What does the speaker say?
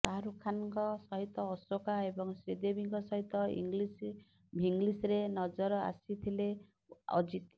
ଶାହରୁଖ ଖାନ୍ଙ୍କ ସହିତ ଅଶୋକା ଏବଂ ଶ୍ରୀଦେବୀଙ୍କ ସହିତ ଇଙ୍ଗଲିସ୍ ଭିଙ୍ଗଲିସ୍ରେ ନଜର ଆସିଥିଲେ ଅଜିତ୍